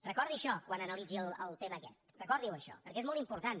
recordi això quan analitzi el tema aquest recordiho això perquè és molt important